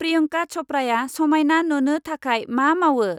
प्रियन्का चप्राया समायना नुनो थाखाय मा मावो?